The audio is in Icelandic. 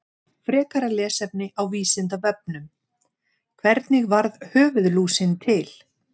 Frekara lesefni á Vísindavefnum: Hvernig varð höfuðlúsin til?